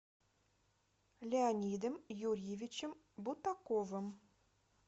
леонидом юрьевичем бутаковым